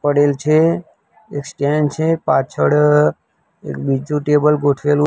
પડેલ છે એ સ્ટેન્ડ છે પાછળ એક બીજુ ટેબલ ગોઠવેલુ--